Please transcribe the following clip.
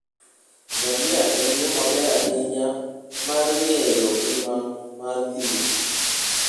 ngamia en yo maber ahinya mar ng'eyo ngima mar thim.